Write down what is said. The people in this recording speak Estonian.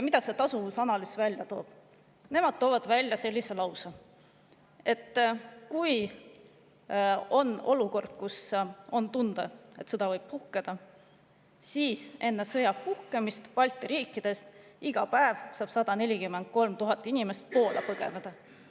Tasuvusanalüüs toob välja, et kui on tunda, et sõda võib puhkeda, siis enne sõja puhkemist saab Balti riikidest iga päev 143 000 inimest Poola põgeneda.